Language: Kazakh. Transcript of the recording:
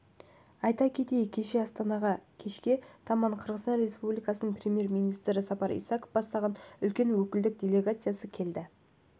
айта кетейік кеше астанаға кешке таман қырғызстан песпубликасының премьер-министрі сапар исаков бастаған үлкен өкілдік делегация келді